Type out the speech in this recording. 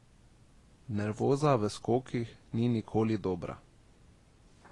Nervoza v skokih ni nikoli dobra.